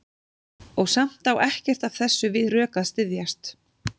Og samt á ekkert af þessu við rök að styðjast.